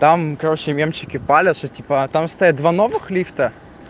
там короче мемчики палят что типа там стоят два новых лифта